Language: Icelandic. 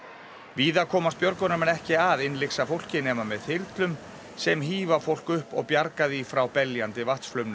víða komast björgunarmenn ekki að innlyksa fólki nema með þyrlum sem hífa fólk upp og bjarga því frá beljandi